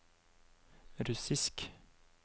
russisk